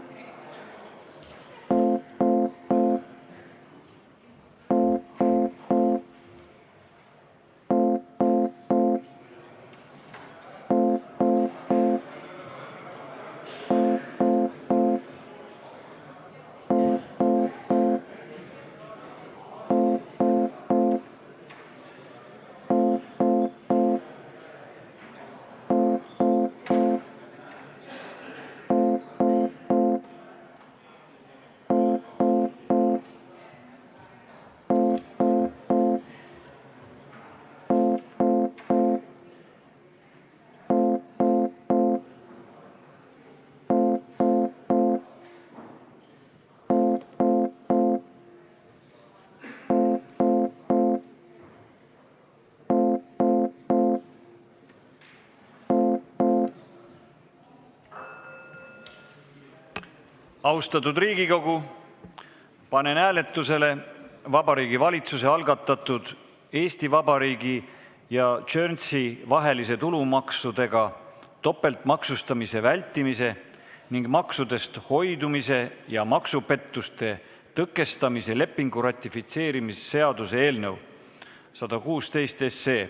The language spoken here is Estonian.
Austatud Riigikogu, panen hääletusele Vabariigi Valitsuse algatatud Eesti Vabariigi ja Guernsey vahelise tulumaksudega topeltmaksustamise vältimise ning maksudest hoidumise ja maksupettuste tõkestamise lepingu ratifitseerimise seaduse eelnõu 116.